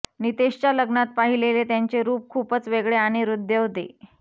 नितेशच्या लग्नात पाहिलेले त्यांचे रूप खूपच वेगळे आणि हृद्य होते